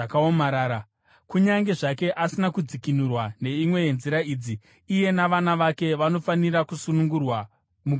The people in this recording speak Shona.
“ ‘Kunyange zvake asina kudzikinurwa neimwe yenzira idzi, iye navana vake vanofanira kusunungurwa mugore reJubhiri,